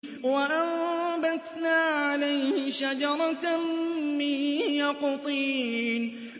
وَأَنبَتْنَا عَلَيْهِ شَجَرَةً مِّن يَقْطِينٍ